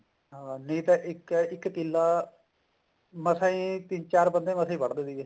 ਹਾਂ ਨਹੀ ਤਾਂ ਇੱਕ ਇੱਕ ਕਿੱਲਾ ਮਸਾਂ ਹੀ ਤਿੰਨ ਚਾਰ ਮਸਾਂ ਵੱਢਦੇ ਸੀਗੇ